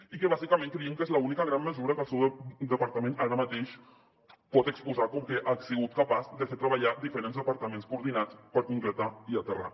i bàsicament creiem que és l’única gran mesura que el seu departament ara mateix pot exposar com que ha sigut capaç de fer treballar diferents departaments coordinats per concretar i aterrar